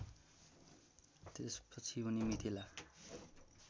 त्यसपछि उनी मिथिला